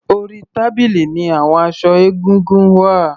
Orí tábìlì ní àwon aṣọ egúngún wà.